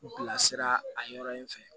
U bilasira a yɔrɔ in fɛ